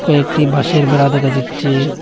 একটি বাঁশের বেড়া দেখা যাচ্চে।